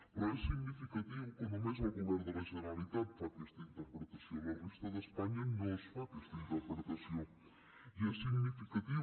però és significatiu que només el govern de la generalitat faci aquesta interpretació a la resta d’espanya no es fa aquesta interpretació i és significatiu